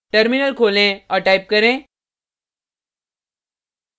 terminal खोलें और type करें